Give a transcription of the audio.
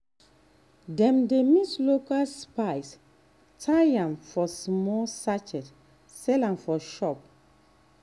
dem dey mix local spice tie am for small sachet sell for shop.